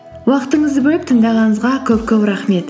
уақытыңызды бөліп тыңдағаныңызға көп көп рахмет